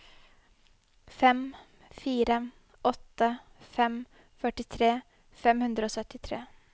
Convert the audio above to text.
fem fire åtte fem førtitre fem hundre og syttitre